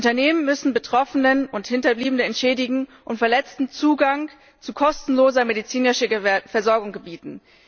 Unternehmen müssen Betroffene und Hinterbliebene entschädigen und Verletzten Zugang zu kostenloser medizinischer Versorgung gewähren.